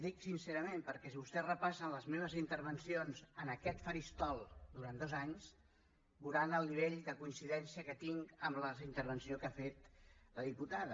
dic sincerament perquè si vostès repassen les meves intervencions en aquest faristol durant dos anys veuran el nivell de coincidència que tinc amb la intervenció que ha fet la diputada